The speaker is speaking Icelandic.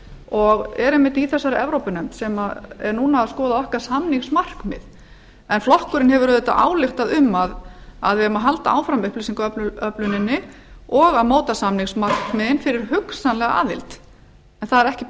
og er einmitt i þessari evrópunefnd sem er núna að skoða okkar samningsmarkmið en flokkurinn hefur auðvitað ályktað um að við eigum að halda áfram upplýsingaöfluninni og að móta samningsmarkmiðin fyrir hugsanlega aðild en það er ekkert